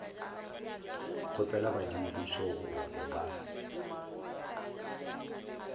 kgopela badimo bešo gore ba